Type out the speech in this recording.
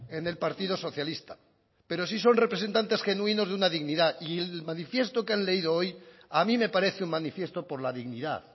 en el partido socialista pero sí son representantes genuinos de una dignidad y el manifiesto que han leído hoy a mí me parece un manifiesto por la dignidad